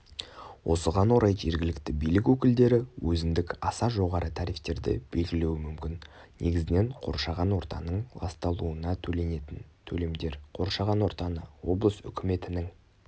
осыған орай жергілікті билік өкілдері өзіндік аса жоғары тарифтерді белгілеуі мүмкін негізінен қоршаған ортаның ласталуына төленетін төлемдер қоршаған ортаны облыс үкіметінің